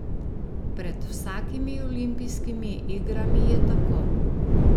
Pred vsakimi olimpijskimi igrami je tako.